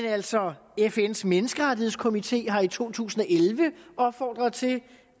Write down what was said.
altså fns menneskerettighedskomité har her i to tusind og elleve opfordret til